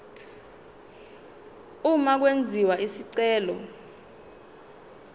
uma kwenziwa isicelo